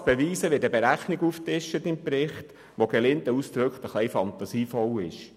Um das zu beweisen, wird eine Berechnung angefügt, welche meiner Einschätzung nach sehr fantasievoll ausfällt.